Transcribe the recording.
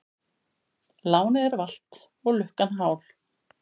Lánið er valt og lukkan hál.